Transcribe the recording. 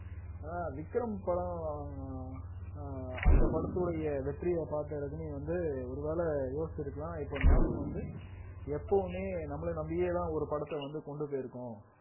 ஆனா விக்ரம் படம் ஆஹ் அஹ் அந்த படத்துடைய வெற்றிய பார்த்த ரஜினி வந்து ஒருவேளை யோசிச்சிருக்கலாம் இப்ப நாம வந்து எப்பவுமே நம்மளை நம்பியேதான் ஒரு படத்தை வந்து கொண்டு போயிருக்கோம்